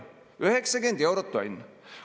90 eurot tonn!